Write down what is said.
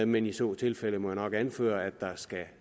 men i så tilfælde må jeg nok anføre at der skal